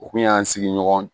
U kun y'an sigiɲɔgɔn